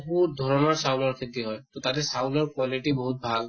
বহুত ধৰণৰ চাউলৰ খেতি হয় । তʼ তাতে চাউলৰ quality বহুত ভাল